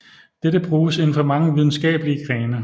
Dette bruges inden for mange videnskabelige grene